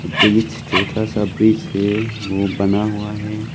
Bridge छोटा सा bridge है वो बना हुआ है।